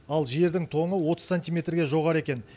ал жердің тоңы отыз сантимертге жоғары екен